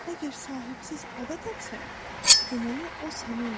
Əgər sahibsiz ada tapsan, deməli o sənindir.